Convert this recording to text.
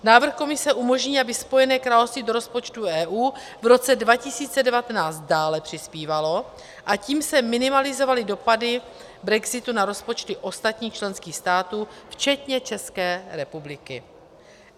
Návrh Komise umožní, aby Spojené království do rozpočtu EU v roce 2019 dále přispívalo, a tím se minimalizovaly dopady brexitu na rozpočty ostatních členských států včetně České republiky.